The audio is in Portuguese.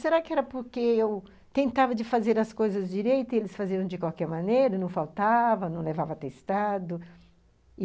Será que era porque eu tentava de fazer as coisas direito e eles faziam de qualquer maneira, não faltava, não levava atestado.